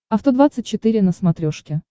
авто двадцать четыре на смотрешке